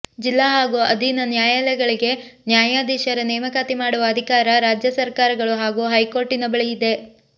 ಜಿಲ್ಲಾ ಹಾಗೂ ಅಧೀನ ನ್ಯಾಯಾಲಯಗಳಿಗೆ ನ್ಯಾಯಾಧೀಶರ ನೇಮಕಾತಿ ಮಾಡುವ ಅಧಿಕಾರ ರಾಜ್ಯ ಸರ್ಕಾರಗಳು ಹಾಗೂ ಹೈಕೋರ್ಟಿನ ಬಳಿ ಇದೆ